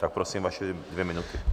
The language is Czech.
Tak prosím, vaše dvě minuty.